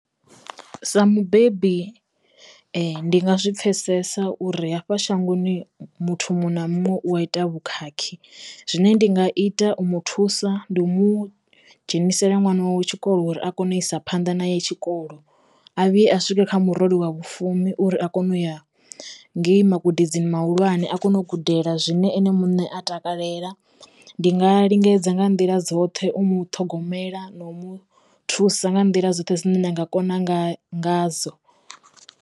Sa mubebi ndi nga zwi pfesesa uri hafha shangoni muthu muṅwe na muṅwe u wa ita vhukhakhi zwine ndi nga ita u mu thusa ndi u mu dzhenisela ṅwana wawe tshikolo uri a kone u isa phanḓa na ye tshikolo a vhuye a swika kha murole wa vhu fumi uri a kone u ya ngei magudedzeni mahulwane a kone u gudela zwine ene muṋe a takalela ndi nga lingedza nga nḓila dzoṱhe u muṱhogomela na u mu thusa nga nḓila dzoṱhe dzine nda nga kona nga nga dzo.